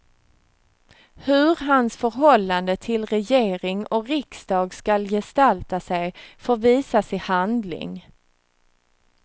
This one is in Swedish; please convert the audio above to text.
Hur hans förhållande till regering och riksdag skall gestalta sig får visas i handling.